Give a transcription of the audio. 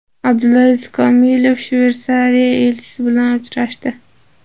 Abdulaziz Komilov Shveysariya elchisi bilan uchrashdi.